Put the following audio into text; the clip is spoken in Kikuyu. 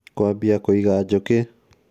kwambia kũiga njũkĩ?